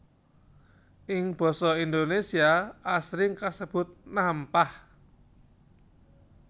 Ing basa Indonésia asring kasebut nampah